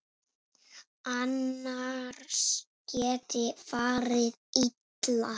Annars geti farið illa.